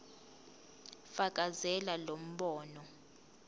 fakazela lo mbono